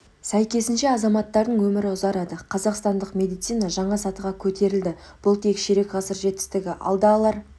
сәйкесінше азаматтардың өмірі ұзарды қазақстандық медицина жаңа сатыға көтерілді бұл тек ширек ғасыр жетістігі алда алар